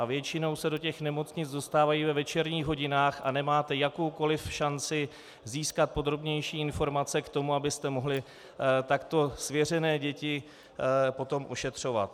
A většinou se do těch nemocnic dostávají ve večerních hodinách a nemáte jakoukoli šanci získat podrobnější informace k tomu, abyste mohli takto svěřené děti potom ošetřovat.